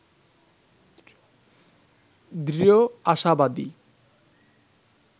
দৃঢ় আশাবাদী